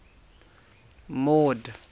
mord